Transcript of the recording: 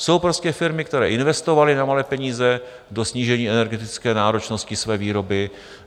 Jsou prostě firmy, které investovaly za nemalé peníze do snížení energetické náročnosti své výroby.